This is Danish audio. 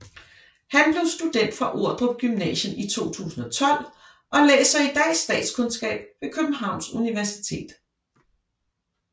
Han blev student fra Ordrup Gymnasium i 2012 og læser i dag statskundskab ved Københavns Universitet